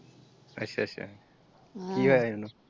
ਅੱਛਾ ਅੱਛਾ ਕਿ ਹੋਇਆ ਸੀ ਉਹਨੂੰ ।